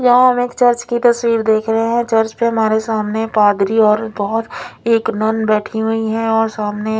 यहा हम एक चर्च की तस्वीर देख रहे है चर्च में हमारे सामने कागरी और बोहोत एक नन बेठी हुई है और सामने--